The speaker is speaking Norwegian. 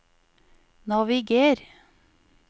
naviger